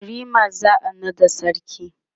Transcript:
yariman za'a naɗa sarki